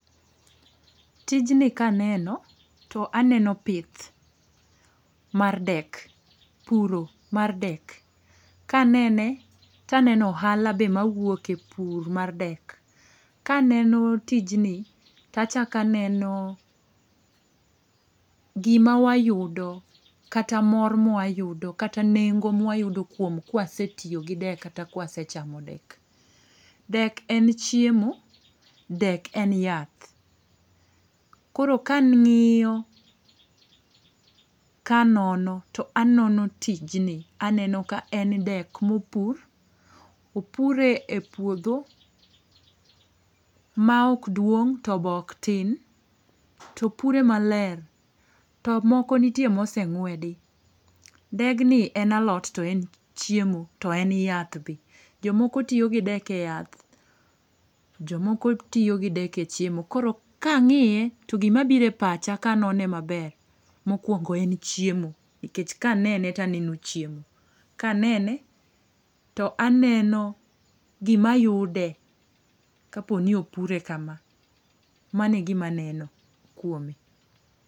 Tijni ka aneno to aneno pith mar dek, puro mar dek, ka anene to aneno ohala be ma wuok e pur mar dek. Ka aneno tijni to achako aneno gi ma wayudo kata mor ma wayudo kata nengo ma wayudo kuom kwasetiyo gi dek kata ka wasechamo dek. Dek en chiemo, dek en yath. Koro ka ng'iyo ,ka anono to anono tij ni to aneno ka en dek ma opur, opure e puodho ,ma ok duong to be ok tin to opure ma ler to moko nitie ma oseng'wedi. Degni en alot to en chiemo, to en yath be, jo moko tiyo gi dek e yath, jo moko tiyo gi dek e chiemo. Koro ka ng'iye gi ma obiro e pacha ka anone ma ber, mokuongo en chiemo nikech ka anene to aneno chiemo, ka anene to aneno gi ma yude ka po ni opure ka ma. Mano e gi ma aneno kuome.